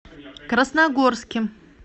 красногорске